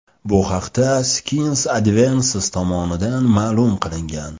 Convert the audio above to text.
Bu haqda Science Advances tomonidan ma’lum qilingan .